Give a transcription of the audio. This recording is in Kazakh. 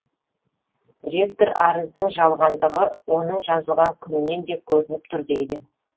ректор арыздың жалғандығы оның жазылған күнінен де көрініп тұр дейді